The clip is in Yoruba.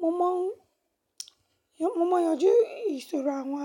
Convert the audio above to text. Mo mọ̀ ń yanjú ìṣòro àwọn